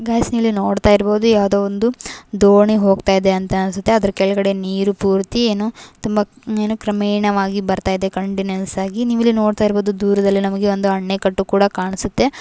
Guys ಇಲ್ಲಿ ನೋಡ್ತಇರಬಹುದು ಯಾವದೋ ಒಂದು ದೋಣಿ ಹೋಗ್ತಾಯಿದೆ ಅಂತ ಅನ್ಸುತ್ತೆ ಅದರ ಕೆಳಗಡೆ ನೀರು ಪೂರ್ತಿ ಏನು ತುಂಬಾ ಏನು ಕ್ರಮೇಣವಾಗಿ ಬರ್ತಾಇದೇ ಕಂಟಿನ್ಯೂವ್ಸ್ ಆಗಿ ನೀವು ಇಲ್ಲಿ ನೋಡ್ತ ಇರಬಹುದು ದೂರದಲ್ಲಿ ನಮಗೆ ಒಂದು ಅಣೆಕಟ್ಟು ಕೂಡ ಕಾಣಿಸುತ್ತೆ .